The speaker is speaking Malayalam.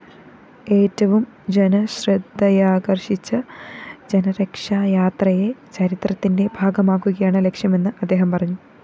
ഏറ്റവും ജനശ്രദ്ധയാകര്‍ഷിച്ച ജനരക്ഷായാത്രയെ ചരിത്രത്തിന്റെ ഭാഗമാക്കുകയാണ് ലക്ഷ്യമെന്ന് അദ്ദേഹം പറഞ്ഞു